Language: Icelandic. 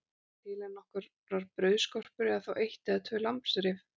Suma daga er ekki annað til en nokkrar brauðskorpur eða þá eitt eða tvö lambsrif.